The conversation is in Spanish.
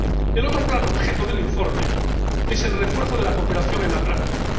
El otro objetivo del informe es el refuerzo de la cooperación en la práctica.